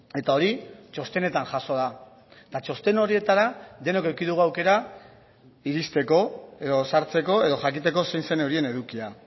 eta hori txostenetan jaso da eta txosten horietara denok eduki dugu aukera iristeko edo sartzeko edo jakiteko zein zen horien edukia